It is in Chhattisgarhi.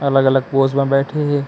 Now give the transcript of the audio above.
अलग-अलग पोज़ म बैठे हे।